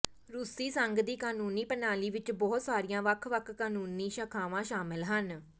ਰੂਸੀ ਸੰਘ ਦੀ ਕਾਨੂੰਨੀ ਪ੍ਰਣਾਲੀ ਵਿਚ ਬਹੁਤ ਸਾਰੀਆਂ ਵੱਖ ਵੱਖ ਕਾਨੂੰਨੀ ਸ਼ਾਖਾਵਾਂ ਸ਼ਾਮਲ ਹਨ